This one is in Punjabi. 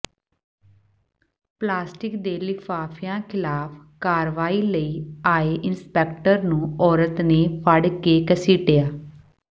ਪਲਾਸਟਿਕ ਦੇ ਲਿਫ਼ਾਫ਼ਿਆਂ ਖਿਲਾਫ ਕਾਰਵਾਈ ਲਈ ਆਏ ਇੰਸਪੈਕਟਰ ਨੂੰ ਔਰਤ ਨੇ ਫੜ ਕੇ ਘਸੀਟਿਆ